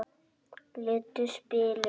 Litlu spilin.